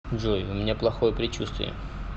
джой у меня плохое предчувствие